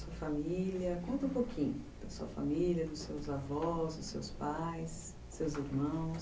Conta um pouquinho da sua família, dos seus avós, dos seus pais, dos seus irmãos.